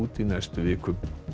í næstu viku